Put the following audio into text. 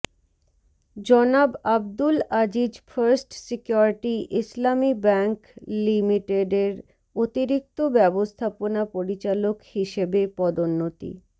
জনাব Abdul Aziz first security Islami bank লিঃ এর অতিরিক্ত ব্যবস্থাপনা পরিচালক হিসেবে পদোন্নতি